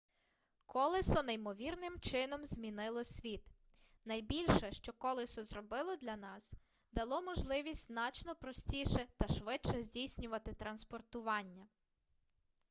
колесо неймовірним чином змінило світ найбільше що колесо зробило для нас дало можливість значно простіше та швидше здійснювати транспортування